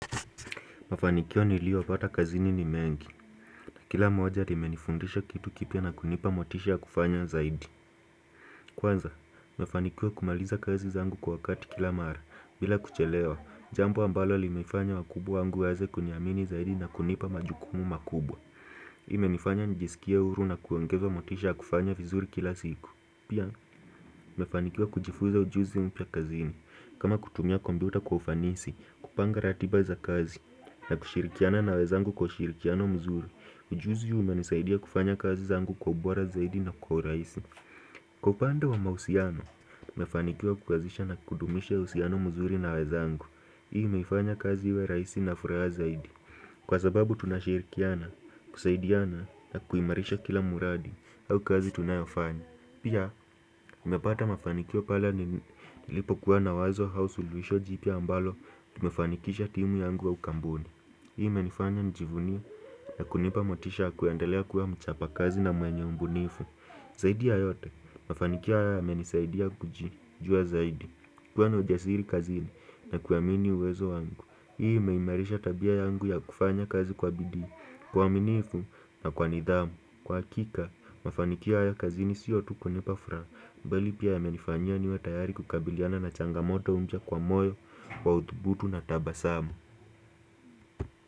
Mafanikio niliyopata kazini ni mengi, na kila moja limenifundisha kitu kipya na kunipa motisha ya kufanya zaidi. Kwanza, nimefanikiwa kumaliza kazi zangu kwa wakati kila mara, bila kuchelewa, jambo ambalo limefanya wakubwa wangu waweze kuniamini zaidi na kunipa majukumu makubwa. Imenifanya nijisikie huru na kuongeza motisha ya kufanya vizuri kila siku. Pia, nimefanikiwa kujifuza ujuzi mpya kazini. Kama kutumia kompyuta kwa ufanisi, kupanga ratiba za kazi, na kushirikiana na wezangu kwa ushirikiano mzuri, ujuzi huu umenisaidia kufanya kazi zangu kwa ubora zaidi na kwa urahisi. Kwa upande wa mahusiano, nimefanikiwa kukazisha na kudumisha uhusiano mzuri na wezangu. Hii imeifanya kazi wa rahisi na furaha zaidi Kwa sababu tunashirikiana, kusaidiana na kuimarisha kila mradi au kazi tunayofanya Pia, nimepata mafanikio pale nilipokuwa na wazo au suluhisho jipya ambalo Tumefanikisha timu yangu au kampuni Hii imenifanya nijivunie na kunipa motisha kuendelea kuwa mchapa kazi na mwenye ubunifu Zaidi ya yote, mafanikio haya yamenisaidia kujijua zaidi kuwa na ujasiri kazini na kuamini uwezo wangu Hii imeimarisha tabia yangu ya kufanya kazi kwa bidii Kwa uaminifu na kwa nidhamu Kwa hakika, mafanikio haya kazini siyo tu kunipa furaha mbali pia yamenifanyia niwe tayari kukabiliana na changamoto mpya kwa moyo Kwa uthubutu na tabasamu.